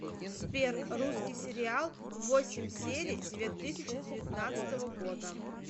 сбер русский сериал восемь серий две тысячи девятнадцатого года